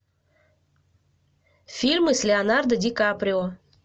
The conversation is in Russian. фильмы с леонардо ди каприо